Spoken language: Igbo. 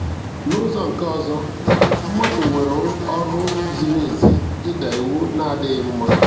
N'ụzọ nke ọzọ, mmadụ nwere ọrụ ziri ezi ịda iwu na-adịghị mma.